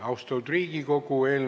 Austatud Riigikogu!